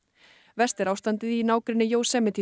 verst er ástandið í nágrenni